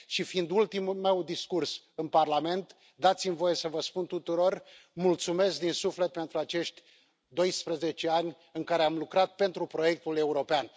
Și, fiind ultimul meu discurs în Parlament, dați mi voie să vă spun tuturor mulțumesc din suflet pentru acești 12 ani în care am lucrat pentru proiectul european.